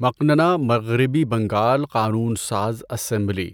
مقننہ، مغربی بنگال قانون ساز اسمبلی،